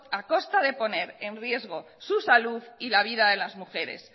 a costa de poner en riesgo su salud y la vida de las mujeres